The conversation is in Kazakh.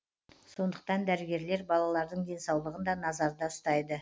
сондықтан дәрігерлер балалардың денсаулығын да назарда ұстайды